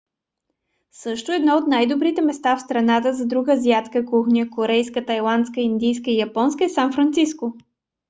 също едно от най-добрите места в страната за друга азиатска кухня - корейска тайландска индийска и японска - е сан франциско